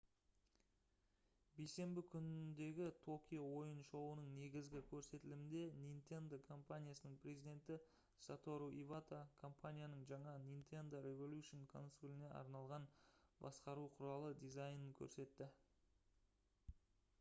бейсенбі күніндегі токио ойын шоуының негізгі көрсетілімінде nintendo компаниясының президенті сатору ивата компанияның жаңа nintendo revolution консоліне арналған басқару құралы дизайнын көрсетті